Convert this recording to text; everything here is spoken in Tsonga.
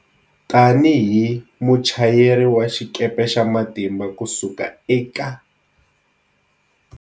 Tanihi muchayeri wa xikepe xa matimba ku suka eka.